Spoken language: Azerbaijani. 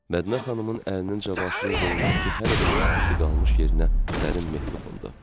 Mədinə xanımın əlinin Cavanşirin qolundakı hələ də istisi qalmış yerinə sərin meh toxundu.